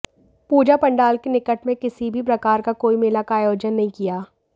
पूजा पंडाल के निकट में किसी भी प्रकार का कोई मेला का आयोजन नहीं किया